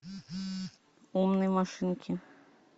умные машинки